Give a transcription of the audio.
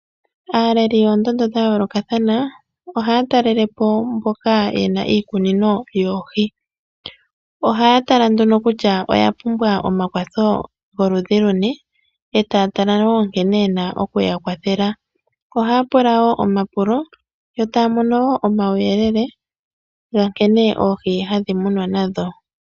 Aaleli yoondondo dha yoolokathana oha ya talelepo mboka ye na iikunino yoohi. Oha ya pula nduno kutya oya pumbwa omakwatho goludhi luni e taya tala woo nkene ye na okuyakwathela oha ya pula wo omapulo yo taya mono wo uuyelele ga nkene oohi hadhi munwa nadho.